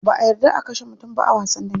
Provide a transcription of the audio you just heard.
Ba'a yarda a kashe mutum ba a wasan dambe.